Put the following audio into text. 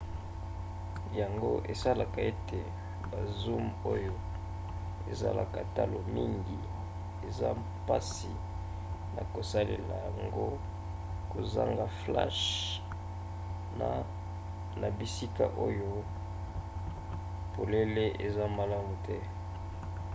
yango esalaka ete ba zoom oyo ezalaka talo mingi eza mpasi na kosalela yango kozanga flashe na bisika oyo polele eza malamu te